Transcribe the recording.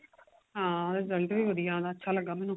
ਹਾਂ result ਵੀ ਵਧੀਆ ਉਹਦਾ ਅੱਛਾ ਲੱਗਾ ਮੈਨੂੰ